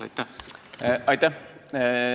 Aitäh!